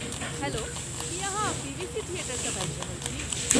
Hello, की अहाँ PVC theatre सँ बाजि रहल छी?